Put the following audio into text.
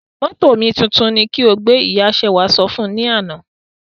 Mótò omituntun ni ki o gbé! Ìya Ṣewà sọ fún un lánà.